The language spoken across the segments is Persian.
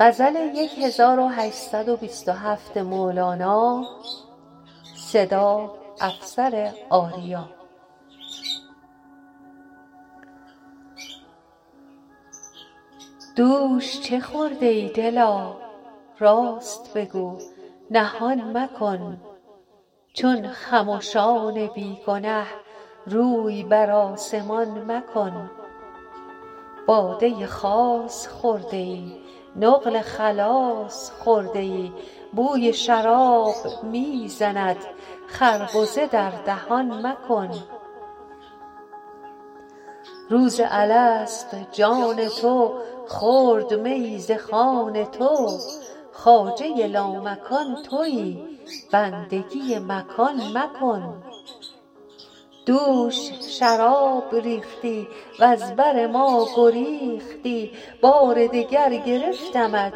دوش چه خورده ای دلا راست بگو نهان مکن چون خمشان بی گنه روی بر آسمان مکن باده خاص خورده ای نقل خلاص خورده ای بوی شراب می زند خربزه در دهان مکن روز الست جان تو خورد میی ز خوان تو خواجه لامکان تویی بندگی مکان مکن دوش شراب ریختی وز بر ما گریختی بار دگر گرفتمت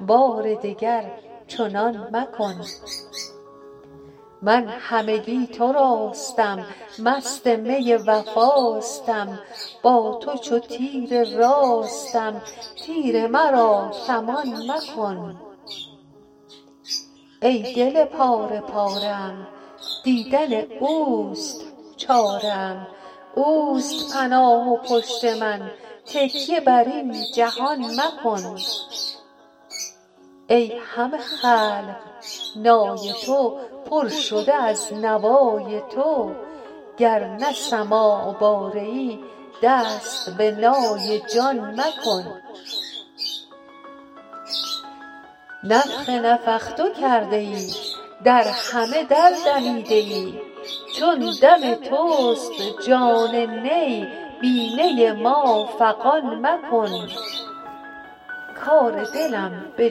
بار دگر چنان مکن من همگی تراستم مست می وفاستم با تو چو تیر راستم تیر مرا کمان مکن ای دل پاره پاره ام دیدن اوست چاره ام اوست پناه و پشت من تکیه بر این جهان مکن ای همه خلق نای تو پر شده از نوای تو گر نه سماع باره ای دست به نای جان مکن نفخ نفخت کرده ای در همه در دمیده ای چون دم توست جان نی بی نی ما فغان مکن کار دلم به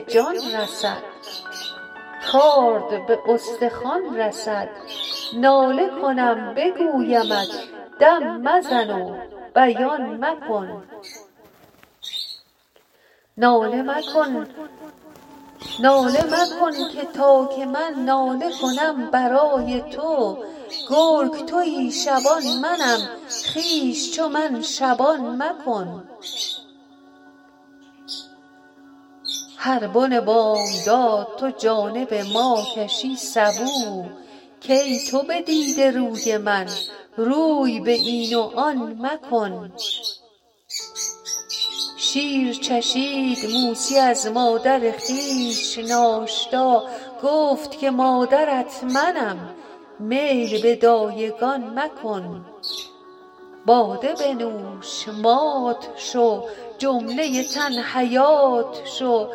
جان رسد کارد به استخوان رسد ناله کنم بگویدم دم مزن و بیان مکن ناله مکن که تا که من ناله کنم برای تو گرگ تویی شبان منم خویش چو من شبان مکن هر بن بامداد تو جانب ما کشی سبو کای تو بدیده روی من روی به این و آن مکن شیر چشید موسی از مادر خویش ناشتا گفت که مادرت منم میل به دایگان مکن باده بنوش مات شو جمله تن حیات شو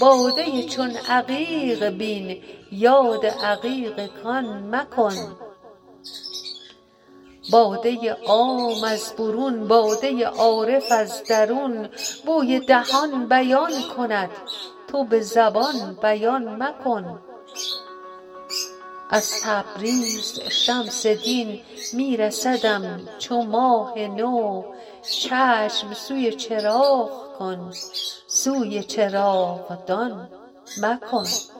باده چون عقیق بین یاد عقیق کان مکن باده عام از برون باده عارف از درون بوی دهان بیان کند تو به زبان بیان مکن از تبریز شمس دین می رسدم چو ماه نو چشم سوی چراغ کن سوی چراغدان مکن